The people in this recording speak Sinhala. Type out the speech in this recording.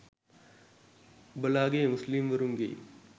ඔබලාගෙයි මුස්ලිම් වරුන්ගෙයි